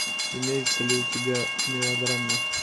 имеется ли у тебя мелодрама